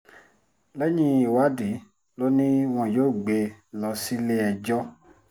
lẹ́yìn ìwádìí lọ ni wọn yóò gbé e lọ sílé-ẹjọ́